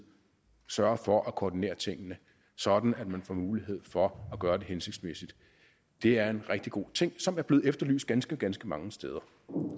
sørger for at koordinere tingene sådan at man får mulighed for at gøre det hensigtsmæssigt er en rigtig god ting som er blevet efterlyst ganske ganske mange steder